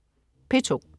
P2: